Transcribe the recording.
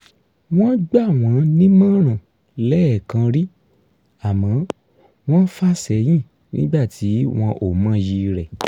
wọ́n gbà wọ́n nímọ̀ràn lẹ́ẹ̀kan rí àmọ́ wọ́n fà sẹ́yìn nígbà tí wọn ò mọyì rẹ̀